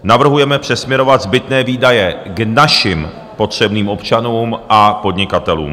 Navrhujeme přesměrovat zbytné výdaje k našim potřebným občanům a podnikatelům.